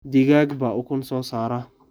Digaag baa ukun soo saara.